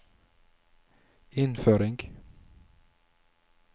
innføring